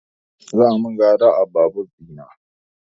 Za a min gyara a babur ɗina